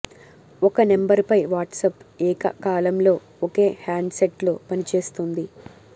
ఒక నంబర్ పై వాట్సాప్ ఏక కాలంలో ఒకే హ్యాండ్ సెట్ లో పనిచేస్తుంది